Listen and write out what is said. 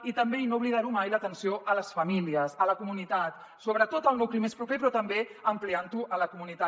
i també i no oblidar ho mai l’atenció a les famílies a la comunitat sobretot al nucli més proper però també ampliant ho a la comunitat